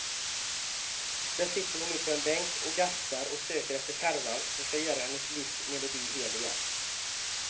Där sitter hon nu på en bänk och gastar och söker efter skärvan som ska göra hennes livs melodi hel igen.